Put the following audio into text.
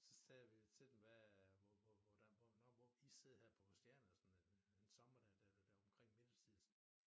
Så sagde vi til dem hvad hvor hvordan hvor nå hvor i sidder her på Christiania sådan en en sommerdag der det var omkring middagstid